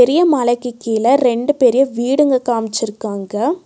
பெரிய மலைக்கு கீழ ரெண்டு பெரிய வீடுங்க காம்ச்சுருக்காங்க.